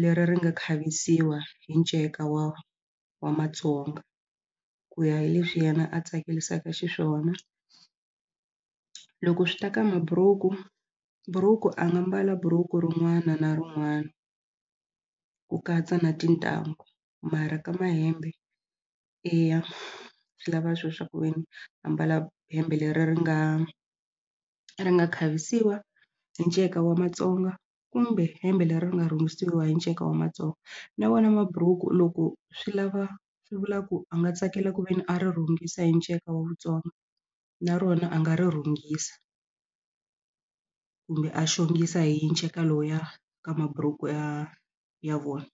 leri ri nga khavisiwa hi nceka wa wa Matsonga ku ya hi leswi yena a tsakelisaka xiswona loko swi ta ka mabhuruku buruku a nga mbala buruku rin'wana na rin'wana ku katsa na tintanghu mara ka mahembe eya swi lava swo swa ku veni ambala hembe leri ri nga ri nga khavisiwa hi nceka wa Matsonga kumbe hembe leri ri nga rhungisiwa hi nceka wa Matsonga na vona mabhuruku loko swi lava swi vula ku a nga tsakela ku veni a ri rhungisa hi nceka wa na rona a nga ri rhungisa kumbe a xongisa hi nceka lowuya ka mabhuruku ya ya .